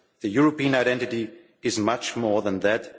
the European identity is much more than that.